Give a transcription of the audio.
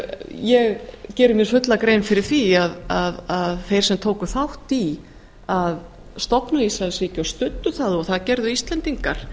ég geri mér fulla grein fyrir því að þeir sem tóku þátt í því að stofna ísraelsríki og studdu það og það gerðu íslendingar